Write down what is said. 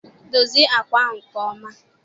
Dozie àkwà ahụ nke ọma!